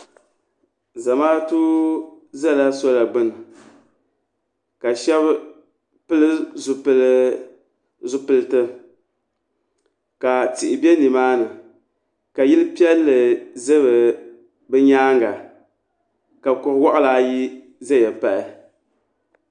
zamaatu ʒɛla soola gbuni ka shab pili zipiliti ka tihi bɛ nimaani ka yili piɛlli ʒɛ bi nyaanga ka kuri waɣala ayi ʒɛya pahi